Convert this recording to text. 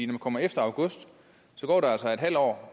man kommer efter august går der altså en halv år